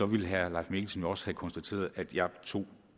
ville herre leif mikkelsen jo også have konstateret at jeg tog